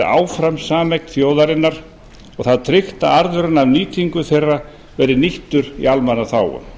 áfram sameign þjóðarinnar og það tryggt að arðurinn af nýtingu þeirra verði nýttur í almannaþágu